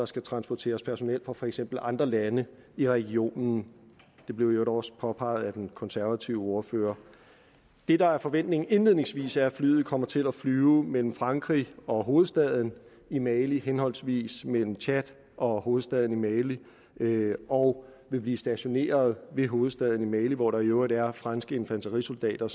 skal transporteres personel fra for eksempel andre lande i regionen det blev i øvrigt også påpeget af den konservative ordfører det der er forventningen indledningsvis er at flyet kommer til at flyve mellem frankrig og hovedstaden i mali henholdsvis mellem tchad og hovedstaden i mali og vil blive stationeret ved hovedstaden i mali hvor der i øvrigt er franske infanterisoldater